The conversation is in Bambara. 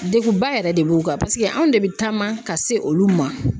Degun ba yɛrɛ de b'u kan ,paseke anw de bɛ taama ka se olu ma.